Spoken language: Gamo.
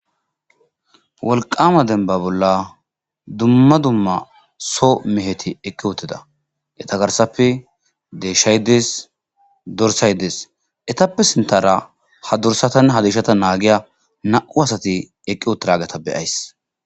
walqama denba bolla dumma dumma so meheti eqqi utida etagarsappe dehshay Des dorsay des etappe sintara ha dursatann ha dishata naagiya na7u asati eqqi otrageta beyays